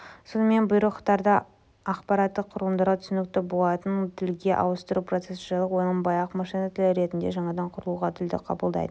сонымен бұйрықтарды аппараттық құрылымдарға түсінікті болатындай тілге ауыстыру процесі жайлы ойланбай-ақ машина тілі ретінде жаңадан құрылған тілді қабылдайтын